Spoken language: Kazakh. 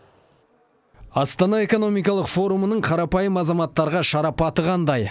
астана экономикалық форумының қарапайым азаматтарға шарапаты қандай